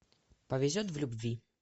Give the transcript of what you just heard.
повезет в любви